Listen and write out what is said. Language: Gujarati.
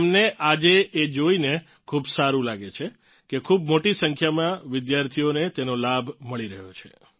તેમને આજે એ જોઇને ખૂબ સારું લાગે છે કે ખૂબ મોટી સંખ્યામાં વિદ્યાર્થીઓને તેનો લાભ મળી રહ્યો છે